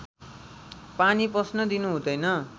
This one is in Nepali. पानी पस्न दिनु हुँदैन